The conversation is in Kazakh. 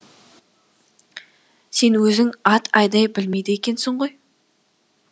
сен өзің ат айдай білмейді екенсің ғой